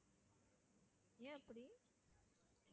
ஏன் அப்படி?